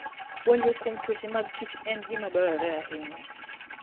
Puonjruok kuom tuoche mag kichen gima dwarore ahinya.